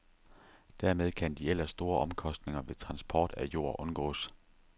Dermed kan de ellers store omkostninger ved transport af jord undgås.